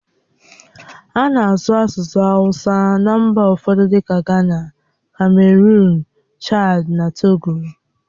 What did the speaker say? A na-asụ asụsụ awusa na mba ụfọdụ dịka Gana, kameruụn, Chadi na Togo.